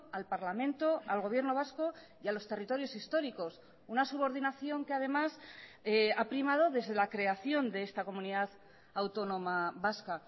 al parlamento al gobierno vasco y a los territorios históricos una subordinación que además ha primado desde la creación de esta comunidad autónoma vasca